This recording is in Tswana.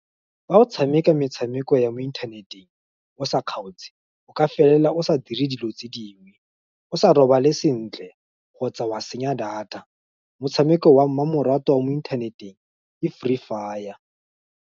Fa o tshameka metshameko ya mo inthaneteng, o sa kgaotse, o ka felela o sa dire dilo tse dingwe, o sa robale sentle, kgotsa wa senya data, motshameko wa mmamoratwa wa mo inthaneteng ke Free Fire.